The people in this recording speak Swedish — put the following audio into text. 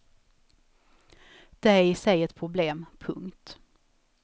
Det är i sig ett problem. punkt